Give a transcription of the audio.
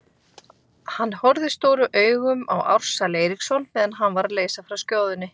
Hann horfði stórum augum á Ársæl Eiríksson meðan hann var að leysa frá skjóðunni.